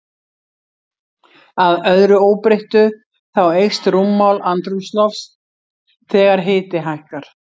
Að öðru óbreyttu, þá eykst rúmmál andrúmslofts þegar hiti hækkar.